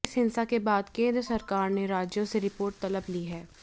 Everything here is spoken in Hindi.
इस हिंसा के बाद केंद्र सरकार ने राज्यों से रिपोर्ट तलब की है